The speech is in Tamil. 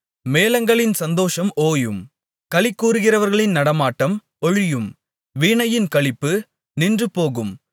மேளங்களின் சந்தோஷம் ஓயும் களிகூருகிறவர்களின் நடமாட்டம் ஒழியும் வீணையின் களிப்பு நின்றுபோகும்